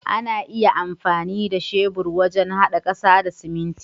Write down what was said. Ana iya amfani da shebur wajen hada kasa da siminti.